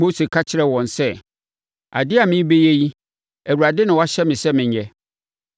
Mose ka kyerɛɛ wɔn sɛ, “Adeɛ a merebɛyɛ yi, Awurade na wahyɛ me sɛ menyɛ.”